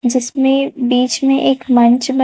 जिसमें बीच में एक मंच ब--